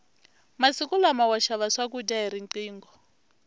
masiku lama wa xava swakudya hi riqingho